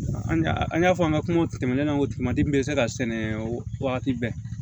An an y'a fɔ an ka kuma tɛmɛnenw na ko kuma min bɛ se ka sɛnɛ wagati bɛɛ